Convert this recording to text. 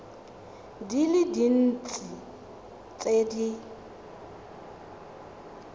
di le dintsi tse di